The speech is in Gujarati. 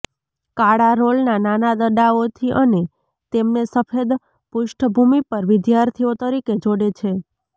કાળા રોલ નાના દડાઓથી અને તેમને સફેદ પૃષ્ઠભૂમિ પર વિદ્યાર્થીઓ તરીકે જોડે છે